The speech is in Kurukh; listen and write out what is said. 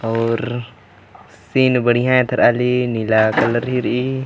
औरर सीन बढ़िया है इधर आली नीला कलर हीरी --